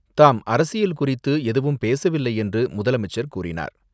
தாம் அரசியல் குறித்து எதுவும் பேசவில்லை என்று முதலமைச்சர் கூறினார்.